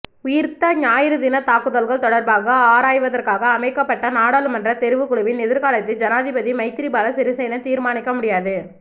உயிர்த்த ஞாயிறு தின தாக்குதல்கள் தொடர்பாக ஆராய்வதற்காக அமைக்கப்பட்ட நாடாளுமன்ற தெரிவுக்குழுவின் எதிர்காலத்தை ஜனாதிபதி மைத்திரிபால சிறிசேன தீர்மானிக்க முடியாது